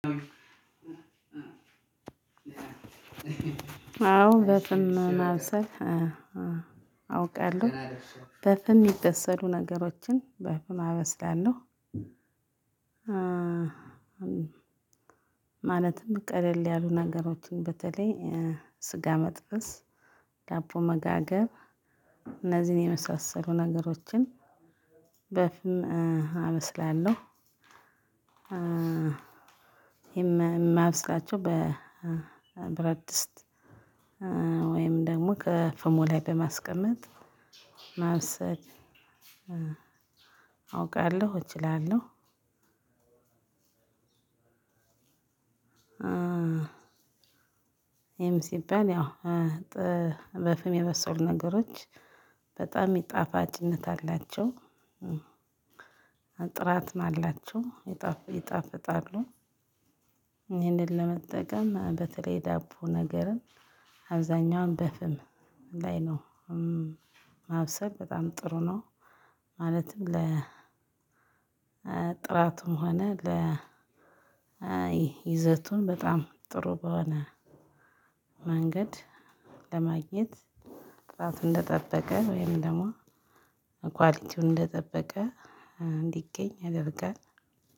አዎ በፍም ማብሰል አውቃለሁ በፍን የሚደሰሉ ነገሮችን በፍን አበስላለሁ። ማለትም ቀደል ያሉ ነገሮችን በተለይ ስጋ መጥበስ ዳቦ መጋገር እነዚህን የመሳሰሉ ነገሮችን በፍም አበስላለሁ። የማብስላቸው በብረድስት ወይም ደግሞ ከፍሙ ላይ በማስቀመጥ ማብሰል አውቃለሁ እችላለሁ። ይሄም ሲባል ያው በፍም የበሰሉ ነገሮች በጣም የሚ ጣፋጭነት አላቸው ጥራትም አላቸው ይጣፍጣሉ። ይሄንን ለመጠቀም በተለይ ዳቦ ነገርን አብዛኛውን በፍም ላይ ነው ማብሰል በጣም ጥሩ ነው። ማለትም ለ ጥራትም ሆነ ለ ይዘቱን በጣም ጥሩ በሆነ መንገድ ለማግኘት ጥላት እንደጠበቀ ወይም ደግሞ ኳሊቲውን እንደጠበቀ እንዲገኝ ያደርጋል።